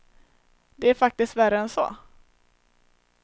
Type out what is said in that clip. Det är faktiskt värre än så.